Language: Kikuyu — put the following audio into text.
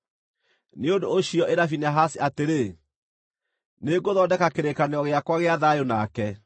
Nĩ ũndũ ũcio ĩra Finehasi atĩrĩ, nĩ ngũthondeka kĩrĩkanĩro gĩakwa gĩa thayũ nake.